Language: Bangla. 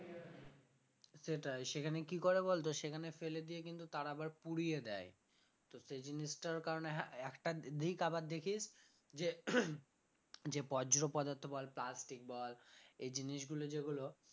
সেটাই সেখানে কি করে বলতো সেখানে ফেলে দিয়ে কিন্তু তারা আবার পুড়িয়ে দেয় তো সেই জিনিসটার কারণে হ্যাঁ একটা দিক আবার দেখিস যে যে বজ্র পদার্থ বল plastic বল এই জিনিসগুলো যেগুলো